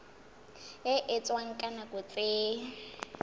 e etswang ka nako tse